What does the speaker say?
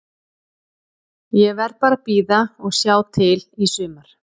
Ég verð bara að bíða og sjá til í sumar.